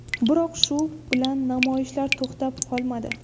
Biroq shu bilan namoyishlar to‘xtab qolmadi.